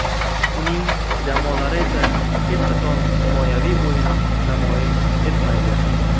Uning jamoalari esa hech qachon himoyaviy o‘yin namoyish etmaydi.